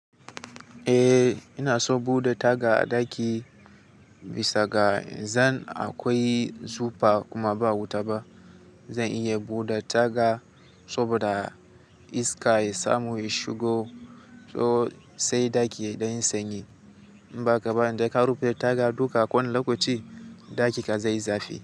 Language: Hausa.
Eh, ina so bude taga a ɗaki bisa ga zan akwai zufa kuma ba wuta ba. Zan iya bude taga saboda iska ya samu ya shigo, so sai ɗaki dan sanyi. In ba haka ba, idan ka rufe taga duka kwana lokaci, ɗaki ka zai zafi.